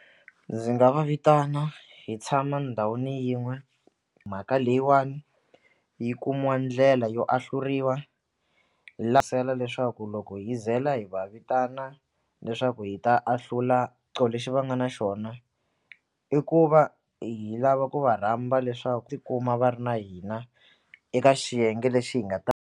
Ndzi nga va vitana hi tshama ndhawini yin'we mhaka leyiwani yi kumiwa ndlela yo ahluriwa leswaku loko hi zela hi va vitana leswaku hi ta ahlula lexi va nga na xona i ku va hi lava ku va rhamba tikuma va ri na hina eka xiyenge lexi hi nga ta.